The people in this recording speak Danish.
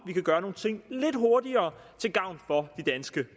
gøre nogle ting lidt hurtigere til gavn for de danske